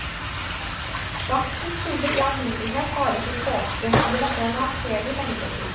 Baksten skulle i alminnelighet vare til påske, så det måtte en anselig mengde til.